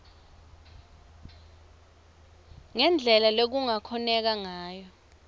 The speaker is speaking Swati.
ngendlela lekungakhoneka ngayo